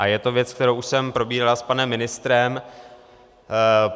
A je to věc, kterou už jsem probíral s panem ministrem.